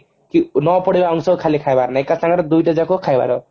ନ ପୋଡିବା ଅଂଶ ଖାଲି ଖାଇବାର ନାଇଁ ଏକ ସାଙ୍ଗରେ ଦୁଇଟା ଯାଙ୍କ ଖାଇବାର